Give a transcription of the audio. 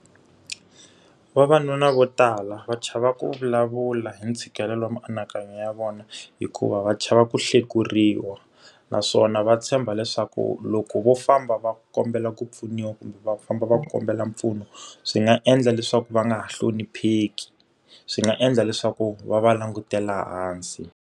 Vavanuna vo tala va chava ku vulavula hi ntshikelelo wa mianakanyo ya vona, hikuva va chava ku hlekuriwa. Naswona va tshemba leswaku loko vo famba va kombela ku pfuniwa kumbe va famba va kombela mpfuno, swi nga endla leswaku va nga ha hlonipheki, swi nga endla leswaku va va langutela hansi.